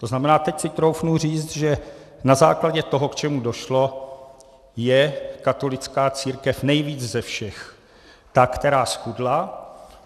To znamená, teď si troufnu říct, že na základě toho, k čemu došlo, je katolická církev nejvíc ze všech ta, která zchudla.